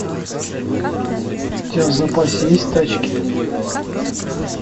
у тебя в запасе есть тачки